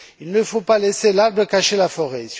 Il ne faut pas laisser l'arbre cacher la forêt.